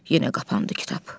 Yenə qapandı kitab.